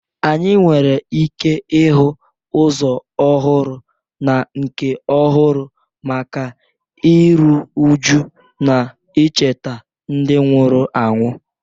Anyị nwere ike ịhụ ụzọ ọhụrụ na nke ọhụrụ maka iru újú na icheta ndị nwụrụ anwụ